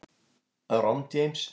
Romm, James.